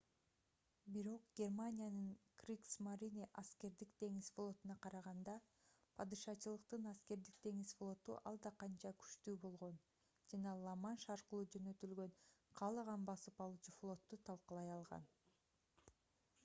бирок германиянын кригсмарине аскердик деңиз флотуна караганда падышачылыктын аскердик деңиз флоту алда канча күчтүү болгон жана ла-манш аркылуу жөнөтүлгөн каалаган басып алуучу флотту талкалай алган